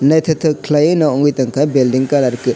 naitotok kelaioe no wngoi tongka belding colour ke --